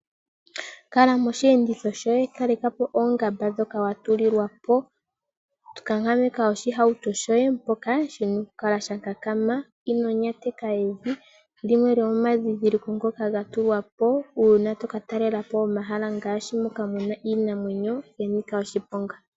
Kala moshi enditho shoye kalekapo oongamba dhoka watulilwapo kankameka oshihauto shoye mpoka shina okukala shakakama. Ino nyateka evi lyimwe lyomadhidhiliko ngoka gatulwapo uuna toka talelapo omahala moka muna iinamwenyo yanika oshiponga.